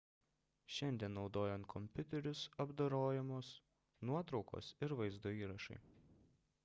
šiandien naudojant kompiuterius apdorojamos nuotraukos ir vaizdo įrašai